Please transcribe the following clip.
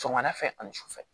Sɔgɔmada fɛ ani sufɛ